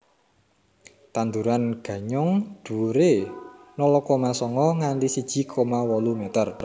Tanduran ganyong dhuwuré nol koma songo nganti siji koma wolu meter